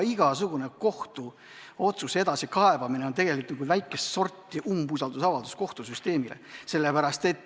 Igasugune kohtuotsuse edasikaebamine on tegelikult väikest sorti umbusaldusavaldus kohtusüsteemile.